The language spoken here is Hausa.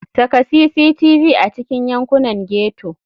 Saka cctv a cikin yankunan ghetto.